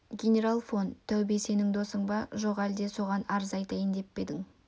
генерал фон таубе сенің досың ба жоқ әлде соған арыз айтайын деп пе едің